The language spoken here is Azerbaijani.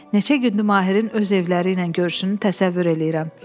Neçə gündü Mahirin öz evləriylə görüşünü təsəvvür eləyirəm.